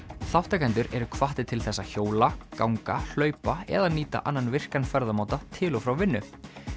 þátttakendur eru hvattir til þess að hjóla ganga hlaupa eða nýta annan virkan ferðamáta til og frá vinnu